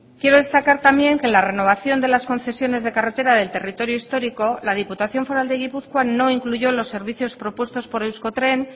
quiero destacar también que la renovación de las concesiones de carretera del territorio histórico la diputación foral de gipuzkoa no incluyó los servicios propuestos por euskotren